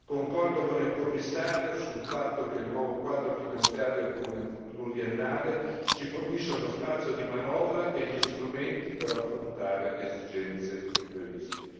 Concordo con il Commissario, sul fatto che il nuovo Quadro finanziario pluriennale ci fornisce uno spazio di manovra e gli strumenti per affrontare esigenze impreviste.